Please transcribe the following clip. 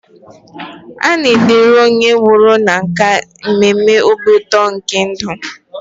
A na-edere onye nwụrụ na nkà mmemme obi ụtọ nke ndụ.